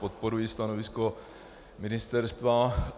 Podporuji stanovisko ministerstva.